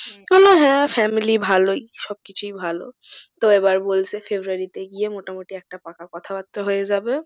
বলল হ্যাঁ family ভালোই সব কিছুই ভালো। তো এবার এবার বলছে february তে গিয়ে মোটামুটি একটা পাকা কথাবার্তা হয়ে যাবে।